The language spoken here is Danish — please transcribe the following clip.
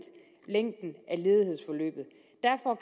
længden